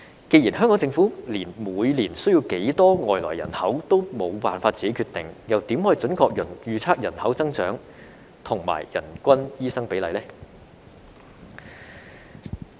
既然香港政府連每年需要多少外來人口也無法由自己決定，又怎能準確預測人口增長和人均醫生比例呢？